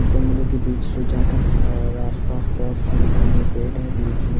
जंगलों के बीच से जाता है और आसपास बहुत सारी घने पेड़ है बीच में--